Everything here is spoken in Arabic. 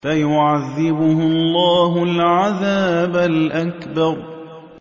فَيُعَذِّبُهُ اللَّهُ الْعَذَابَ الْأَكْبَرَ